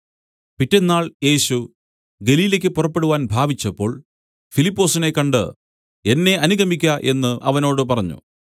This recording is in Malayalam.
പിറ്റെന്നാൾ യേശു ഗലീലയ്ക്കു് പുറപ്പെടുവാൻ ഭാവിച്ചപ്പോൾ ഫിലിപ്പൊസിനെ കണ്ട് എന്നെ അനുഗമിക്ക എന്നു അവനോട് പറഞ്ഞു